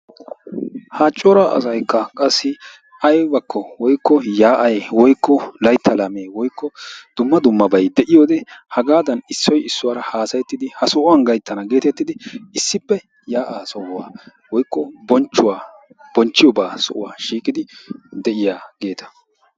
Ha cora asaykka qassi aybakko woykko yaa'ay woykko laytta laamee woykko dumma dummabay de'iyode hagaadan issoy issuwaara haasayettidi ha sohuwan gayttana geettettidi issippe yaa'aa sohuwan woykko bonchchuwa bonchchiyobaa sohuwan de'iyageeta.